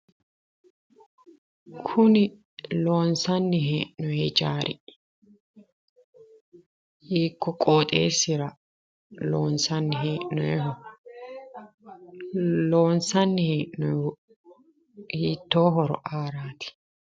Kuni loonsanni hee'noonni hijaari hiikkuyi qoxxeesira loonsanni hee'noyeho? Loonsanni hee'noyihu hiitto horo aarati ?